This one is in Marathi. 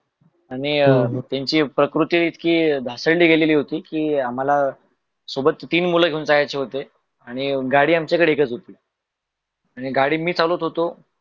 त त्यांची प्रकृती इतकी धासळली गेलेली होती कि आम्हाला सोबतची तीन मुल गेवून जायेचे होते आनी गाडी आमच्या कडे एकच होती आनी गाडी मीच चालवत होतो.